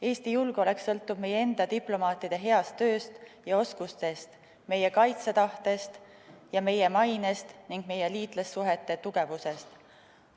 Eesti julgeolek sõltub meie enda diplomaatide heast tööst ja oskustest, meie kaitsetahtest ja meie mainest ning meie liitlassuhete tugevusest.